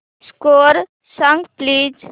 score सांग please